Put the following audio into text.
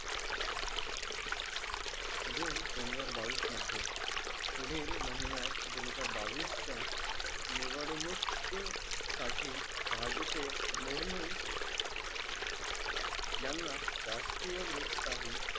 जून दोन हजार बावीस मध्ये पुढील महिन्यात दोन हजार बावीस च्या निवडणूक साठी भाजीपेय मुर्मून यांना राष्ट्रीय लोकशाही